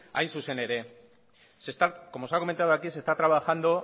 hain zuzen ere como se ha comentado aquí se está trabajando